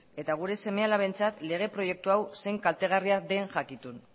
eta gure seme alabentzat lege proiektu hau zein kaltegarria den jakitun